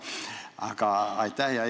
Aga aitäh!